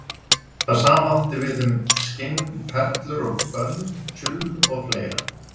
Það sama átti við um skinn, perlur og bönd, tjull og fleira.